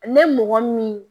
Ne mɔgɔ min